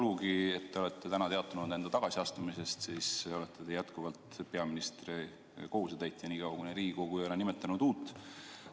Kuigi te olete täna teatanud enda tagasiastumisest, olete te jätkuvalt peaministri kohusetäitja, niikaua kuni Riigikogu ei ole nimetanud uut.